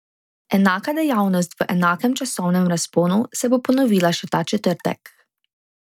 Enaka dejavnost v enakem časovnem razponu se bo ponovila še ta četrtek.